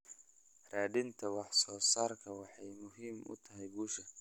Raadinta wax soo saarku waxay muhiim u tahay guusha.